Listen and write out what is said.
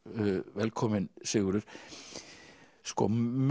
velkominn Sigurður